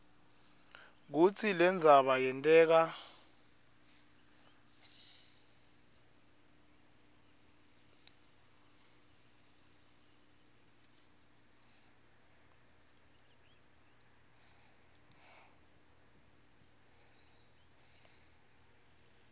kutsi lendzaba yenteka